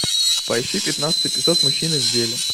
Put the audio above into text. поищи пятнадцатый эпизод мужчины в деле